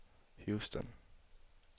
Houston